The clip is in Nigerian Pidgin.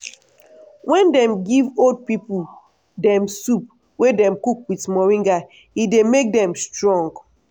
wen dem give old pipo dem soup wey dem cook with moringa e dey make dem strong.